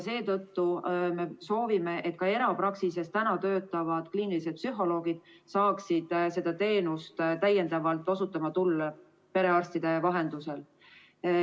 Seetõttu me soovime, et ka erapraksises töötavad kliinilised psühholoogid saaksid seda teenust osutada, perearstide vahendusel.